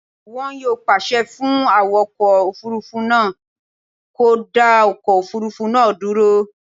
Wọn yóò pàṣẹ fún awakọ̀ òfurufú náà kó dá ọkọ̀ òfurufú náà dúró